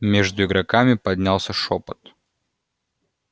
между игроками поднялся шёпот